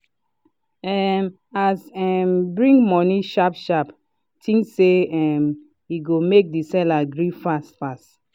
um as um bring money sharp-sharpi think say um e go make the seller gree fast fast.